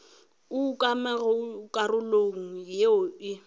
o ukangwago karolong yeo o